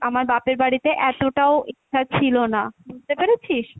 আমার বাপের বাড়িতে এতটাও ছিল না, বুঝতে পেরেছিস?